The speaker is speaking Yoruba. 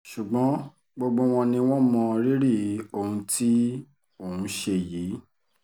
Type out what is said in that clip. ṣùgbọ́n gbogbo wọn ni wọ́n mọ rírì ohun tí òun ṣe yìí